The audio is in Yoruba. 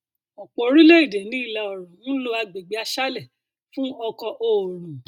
ọpọ orílẹ èdè ní ìlà oòrùn ń lo agbègbè aṣálẹ fún ọkọ oòrùn